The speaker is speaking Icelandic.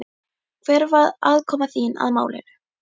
Hver var aðkoma þín að málinu?